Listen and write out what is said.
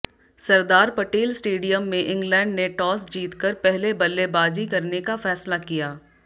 सरदार Patel stadium में England ने toss जीतकर पहले बल्लेबाजी करने का फैसला किया